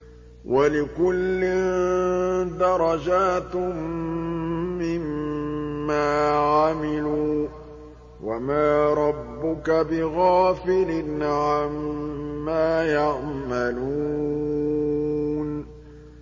وَلِكُلٍّ دَرَجَاتٌ مِّمَّا عَمِلُوا ۚ وَمَا رَبُّكَ بِغَافِلٍ عَمَّا يَعْمَلُونَ